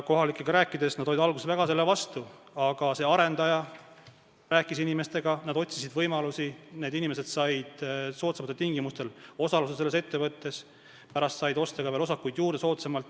Kohalikega rääkides selgus, et nad olid algul väga selle vastu olnud, aga arendaja rääkis inimestega, nad otsisid võimalusi, need inimesed said soodsamatel tingimustel osaluse selles ettevõttes, pärast said osta soodsamalt ka veel osakuid juurde.